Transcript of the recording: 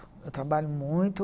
Eu trabalho muito.